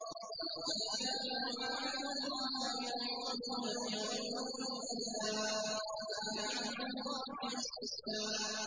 وَلَقَدْ كَانُوا عَاهَدُوا اللَّهَ مِن قَبْلُ لَا يُوَلُّونَ الْأَدْبَارَ ۚ وَكَانَ عَهْدُ اللَّهِ مَسْئُولًا